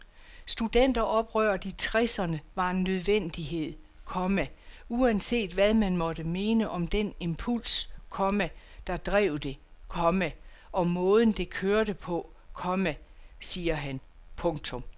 Studenteroprøret i tresserne var en nødvendighed, komma uanset hvad man måtte mene om den impuls, komma der drev det, komma og måden det kørte på, komma siger han. punktum